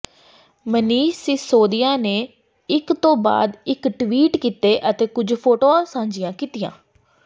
ਮਨੀਸ਼ ਸਿਸੋਦੀਆ ਨੇ ਇਕ ਤੋਂ ਬਾਅਦ ਇਕ ਟਵੀਟ ਕੀਤੇ ਅਤੇ ਕੁਝ ਫੋਟੋਆਂ ਸਾਂਝੀਆਂ ਕੀਤੀਆਂ